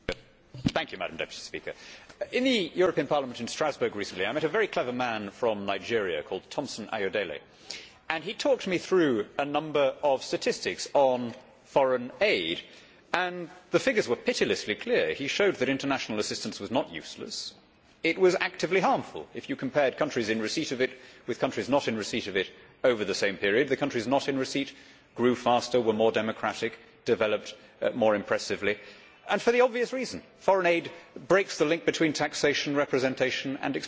Madam President, in the European Parliament in Strasbourg recently I met a very clever man from Nigeria called Thompson Ayodele. He talked me through a number of statistics on foreign aid, and the figures were pitilessly clear. He showed that international assistance was not useless, it was actively harmful. If you compared countries in receipt of it with countries not in receipt of it over the same periods, the countries not in receipt grew faster, were more democratic, developed more impressively, and for the obvious reason foreign aid breaks the link between taxation, representation and expenditure.